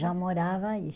Já morava aí.